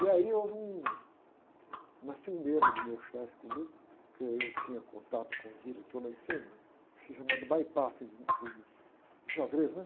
E aí houve um, uma ciumeira do meu chefe comigo, porque eu tinha contato com os diretores lá em cima, isso é chamado em, em xadrez, né?